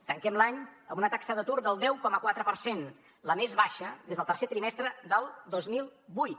tanquem l’any amb una taxa d’atur del deu coma quatre per cent la més baixa des del tercer trimestre del dos mil vuit